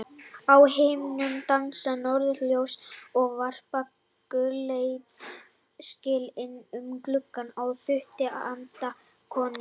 Á himnum dansa norðurljós og varpa gulleitu skini inn um glugga á þrútið andlit konunnar.